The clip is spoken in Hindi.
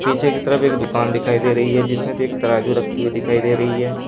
पीछे की तरफ एक दुकान दिखाई दे रही है जिसमें एक तराजू रखी हुई दिखाई दे रही है।